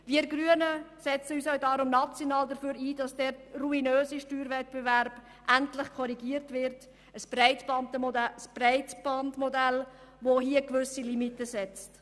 Wir Grünen setzen uns daher auch national ein, damit der ruinöse Steuerwettbewerb endlich korrigiert wird und ein Bandbreitenmodell gewisse Limiten setzt.